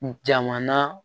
Jamana